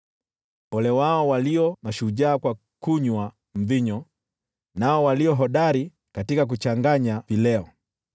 Ole wao walio mashujaa kwa kunywa mvinyo, nao walio hodari katika kuchanganya vileo,